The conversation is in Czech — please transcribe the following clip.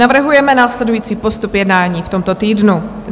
Navrhujeme následující postup jednání v tomto týdnu.